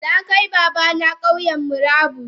Nakai babana Kauyan murabus.